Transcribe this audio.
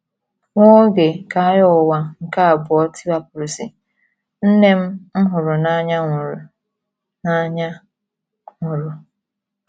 Nwa oge ka Agha Ụwa nke Abụọ tiwapụsịrị, nne m m hụrụ n’anya nwụrụ. n’anya nwụrụ.